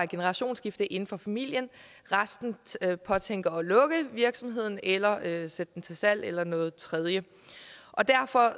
generationsskifte inden for familien og resten påtænker at lukke virksomheden eller at sætte den til salg eller noget tredje derfor